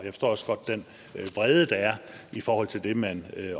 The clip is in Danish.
forstår også godt den vrede der er i forhold til det man